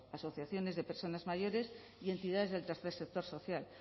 asociaciones de personas mayores y entidades del tercer sector social